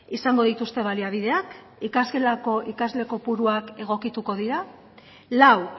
izango dituzte baliabideak ikasgelako ikasle kopuruak egokituko dira lau